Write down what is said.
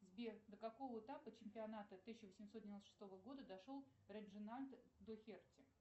сбер до какого этапа чемпионата тысяча восемьсот девяносто шестого года дошел реджинальд дохерти